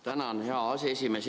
Tänan, hea aseesimees!